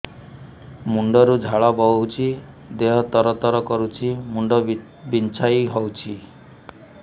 ମୁଣ୍ଡ ରୁ ଝାଳ ବହୁଛି ଦେହ ତର ତର କରୁଛି ମୁଣ୍ଡ ବିଞ୍ଛାଇ ହଉଛି